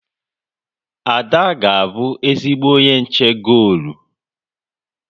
Ada ga-abụ ezigbo onye nche golu